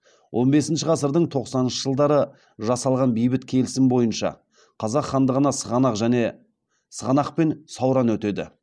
он бесінші ғасырдың тоқсаныншы жылдары жасалған бейбіт келісім бойынша қазақ хандығына сығанақ пен сауран өтеді